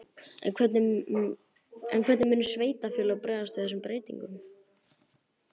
En hvernig munu sveitarfélögin bregðast við þessum breytingum?